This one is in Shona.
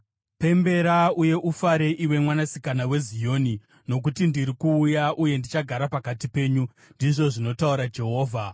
“Pembera uye ufare, iwe Mwanasikana weZioni. Nokuti ndiri kuuya, uye ndichagara pakati penyu,” ndizvo zvinotaura Jehovha.